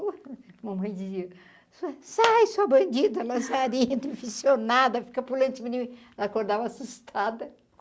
Mamãe dizia, sai, sua bandida, lazarenta, fica pulando de mim ela acordava assustada.